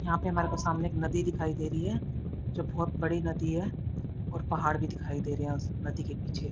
यहां पे हमारे को सामने एक नदी दिखाई दे रही है जो बहोत बड़ी नदी है और पहाड़ भी दिखाई दे रहे उस नदी के पीछे--